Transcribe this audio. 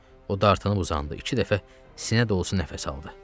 O dartınıb uzandı, iki dəfə sinə dolusu nəfəs aldı.